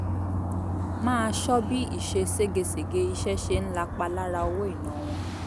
máa ṣọ́ bí ìṣe ségesège iṣẹ́ ṣe ń lapa lára owó ìná wọn